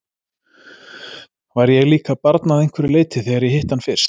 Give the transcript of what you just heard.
Var ég líka barn að einhverju leyti, þegar ég hitti hann fyrst?